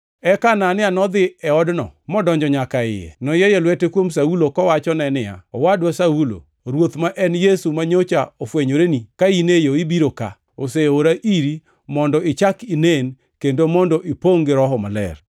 Eka Anania nodhi e odno modonjo nyaka e iye. Noyieyo lwete kuom Saulo kowachone niya, “Owadwa Saulo, Ruoth, ma en Yesu manyocha ofwenyoreni ka in e yo ibiro ka, oseora iri mondo ichak inen kendo mondo ipongʼ gi Roho Maler.”